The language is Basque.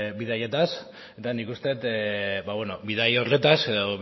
bidaiez eta nik uste dut bidaia horretaz edo